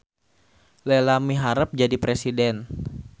Lela miharep jadi presiden